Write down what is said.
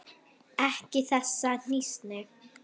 Ekki þessa hnýsni.